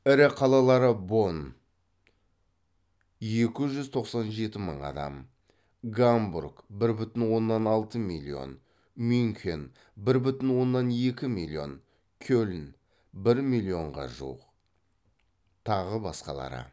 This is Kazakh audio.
ірі қалалары бонн гамбург мюнхен кельн тағы басқалары